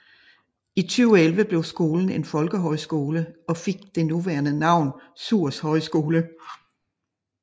I 2011 blev skolen en folkehøjskole og fik det nuværende navn Suhrs Højskole